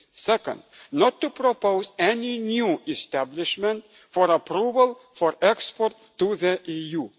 to the EU second, not to propose any new establishment for approval for export